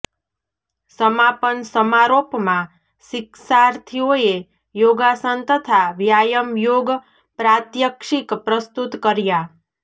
સમાપન સમારોપમાં શિક્ષાર્થીઓેએ યોગાસન તથા વ્યાયામ યોગ પ્રાત્યક્ષિક પ્રસ્તુત કર્યાં